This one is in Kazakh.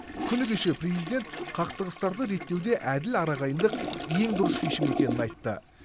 күні кеше президент қақтығыстарды реттеуде әділ арағайындық ең дұрыс шешім екенін айтты